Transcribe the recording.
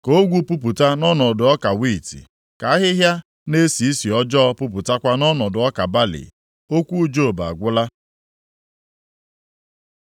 ka ogwu pupụta nʼọnọdụ ọka wiiti, ka ahịhịa na-esi isi ọjọọ pupụtakwa nʼọnọdụ ọka balị.” Okwu Job agwụla.